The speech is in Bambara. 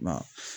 Ba